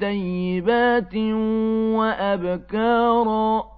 ثَيِّبَاتٍ وَأَبْكَارًا